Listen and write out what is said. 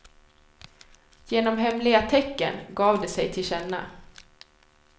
Genom hemliga tecken gav de sig tillkänna.